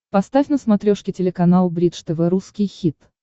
поставь на смотрешке телеканал бридж тв русский хит